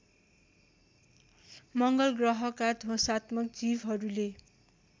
मङ्गलग्रहका ध्वंसात्मक जीवहरूले